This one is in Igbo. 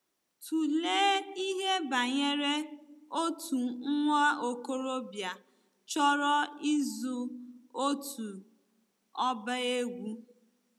Tụlee ihe banyere otu nwa okorobịa chọrọ ịzụ otu ọba egwú.